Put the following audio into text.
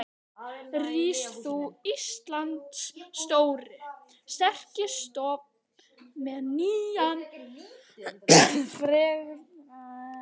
Rís þú, Íslands stóri, sterki stofn með nýjan frægðardag.